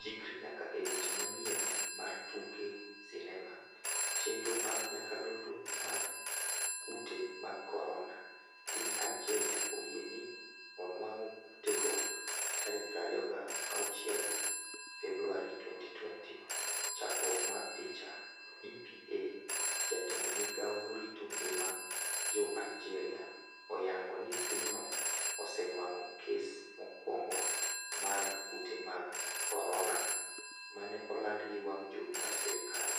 Chikri nyaka e weche manyien mar tuke sinema chenro mag nyakalondo mar Kute mag korona: Piny Aljeria oyie ni onwang'o kutego 26 Februari 2020. Chakruok mar picha, EPA jatend migao morito ngima jo Aljeria oyango ni pinyno osenwang'o kes mokwongo mar kute mag korona mane oland gi wang' jowi mar sirkal,